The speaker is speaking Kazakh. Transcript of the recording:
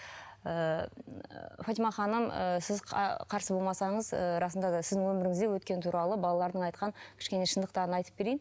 ыыы фатима ханым ы сіз қарсы болмасаңыз ыыы расында да сіздің өміріңізде өткен туралы балалардың айтқан кішкене шындықтарын айтып берейін